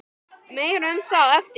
Meira um það á eftir.